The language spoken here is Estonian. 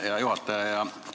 Hea juhataja!